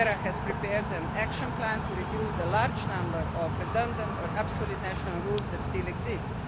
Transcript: ERA has prepared an action plan to reduce the large number of redundant or absolute national rules that still exist.